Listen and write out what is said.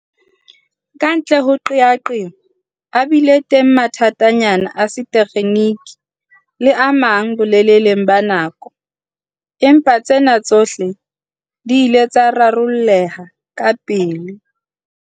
Kantle ho qeaqeo, a bile teng mathatanyana a setekgeniki le a mang boleleng ba nako, empa tsena tsohle di ile tsa rarolleha kapele.